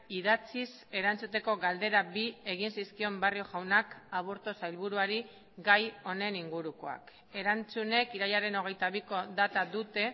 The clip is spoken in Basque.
idatziz erantzuteko galdera bi egin zizkion barrio jaunak aburto sailburuari gai honen ingurukoak erantzunek irailaren hogeita biko data dute